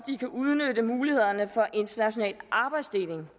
udnytte mulighederne for international arbejdsdeling